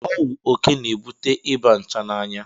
Ọwụ oke na-ebute Ịba nchanaya.